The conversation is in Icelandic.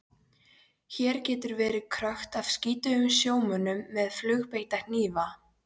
Hér getur verið krökkt af skítugum sjómönnum með flugbeitta hnífa.